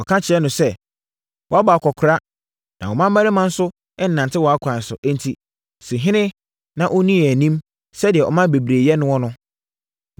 Wɔka kyerɛɛ no sɛ, “Woabɔ akɔkoraa, na wo mmammarima nso nnante wʼakwan so; enti, si ɔhene na ɔnni yɛn anim sɛdeɛ aman bebree yɛ noɔ no.”